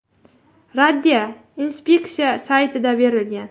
Raddiya inspeksiya saytida berilgan .